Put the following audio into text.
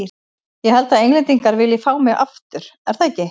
Ég held að Englendingar vilji fá mig aftur, er það ekki?